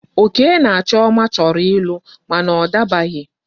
Oke na Chioma choro ilu mana o dabaghi